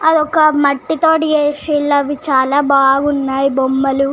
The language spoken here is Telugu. అదొక మట్టి తోని చేసినురు అవి చాల బాగున్నాయి బొమ్మల్లు.